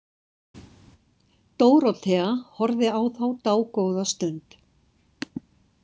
Dórótea horfði á þá dágóða stund.